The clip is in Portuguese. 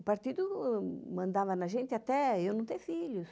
O partido mandava na gente até eu não ter filhos.